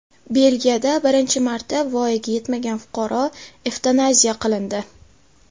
Belgiyada birinchi marta voyaga yetmagan fuqaro evtanaziya qilindi.